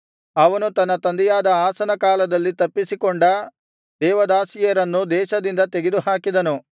ಅವನು ತನ್ನ ತಂದೆಯಾದ ಅಸನ ಕಾಲದಲ್ಲಿ ತಪ್ಪಿಸಕೊಂಡ ದೇವದಾಸದಾಸಿಯರನ್ನು ದೇಶದಿಂದ ತೆಗೆದುಹಾಕಿದನು